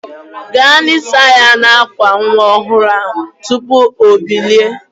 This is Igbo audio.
Gaa nisa ya n'akwa nwa ọhụrụ tụpụ o bilie